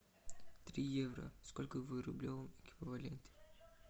три евро сколько в рублевом эквиваленте